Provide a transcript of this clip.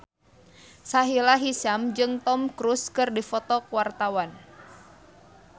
Sahila Hisyam jeung Tom Cruise keur dipoto ku wartawan